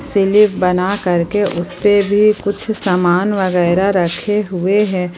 Slip बना करके उसपे भी कुछ समान वगैरा रखे हुए हैं।